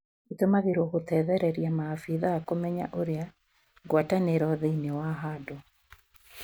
itũmagĩrwo gũtethereria maabitha kũmenya ũrĩa ngwatanio thĩini wa handũ